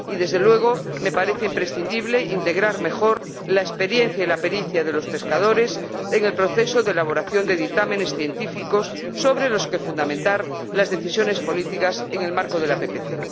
Y, desde luego, me parece imprescindible integrar mejor la experiencia y la pericia de los pescadores en el proceso de elaboración de dictámenes científicos sobre los que fundamentar las decisiones políticas en el marco de la PPC.